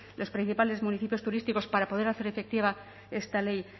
los principales municipios turísticos para poder hacer efectiva esta ley